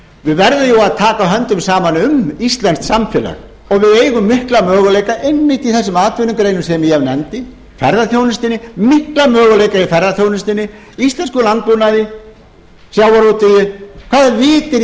við verðum jú að taka höndum saman um íslenskt samfélag og við eigum mikla möguleika einmitt í þessum atvinnugreinum sem ég nefndi ferðaþjónustunni mikla möguleika í ferðaþjónustunni íslenskum landbúnaði sjávarútvegi hvaða vit er í